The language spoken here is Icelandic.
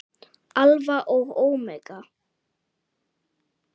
Alfa og ómega.